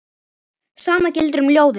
Sama gildir um ljóðið.